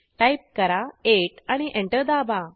type करा8 आणि enter दाबा